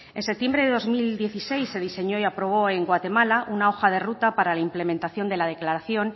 en septiembre de dos mil dieciséis se diseñó y aprobó en guatemala una hoja de ruta para la implementación de la declaración